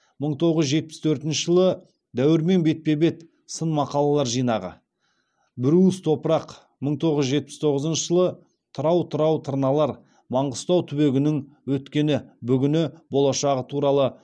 мың тоғыз жүз жетпіс төртінші жылы дәуірмен бетпе бет сын мақалалар жинағы бір уыс топырақ мың тоғыз жүз жетпіс тоғызыншы жылы тырау тырау тырналар маңғыстау түбегінің өткені бүгіні болашағы туралы